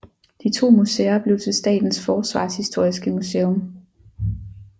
De to museer blev til Statens Forsvarshistoriske Museum